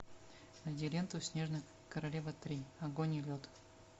найди ленту снежная королева три огонь и лед